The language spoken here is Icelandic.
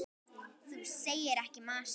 Þú segir ekki margt.